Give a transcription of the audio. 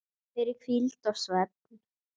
fyrir hvíld og svefn